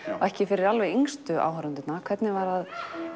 ekki fyrir alveg yngstu áhorfendurna hvernig var að